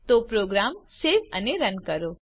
તો program save અને run કરો